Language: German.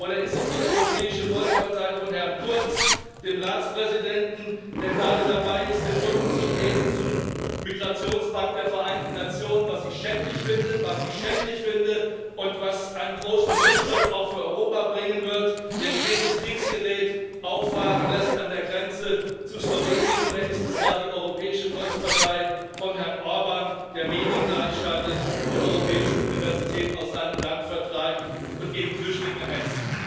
Oder ist es die Europäische Volkspartei von Herrn Kurz, dem Ratspräsidenten, der gerade dabei ist, dem Migrationspakt der Vereinten Nationen den Rücken zu kehren, was ich schändlich finde und was einen großen Rückschritt, auch für Europa, bringen wird der schweres Kriegsgerät auffahren lässt an der Grenze zu Slowenien? Oder ist es gar die Europäische Volkspartei von Herrn Orbán, der Medien gleichschaltet, die europäische Universität aus seinem Land vertreibt und gegen Flüchtlinge hetzt?